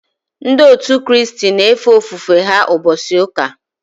Ndị òtù Kristi na efe ofufe ha ụbọchị ụka